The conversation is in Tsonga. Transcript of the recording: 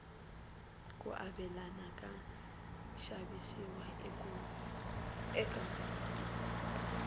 ku avelana ka xavisiwa eka mabindzu